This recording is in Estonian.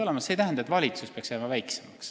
See ei tähenda, et valitsus peaks jääma väiksemaks.